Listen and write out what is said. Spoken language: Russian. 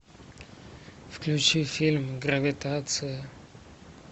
включи фильм гравитация